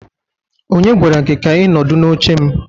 Onye gwara gi ka i nọdụ n'oche m?